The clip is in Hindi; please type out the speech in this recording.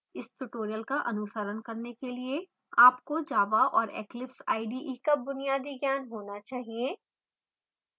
इस tutorial का अनुसरण करने के लिए आपको java और eclipse ide का बुनियादी ज्ञान होना चाहिए